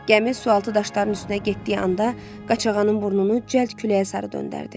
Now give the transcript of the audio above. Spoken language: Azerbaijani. Gəmi sualtı daşların üstünə getdiyi anda, qaçağanın burnunu cəld küləyə sarı döndərdi.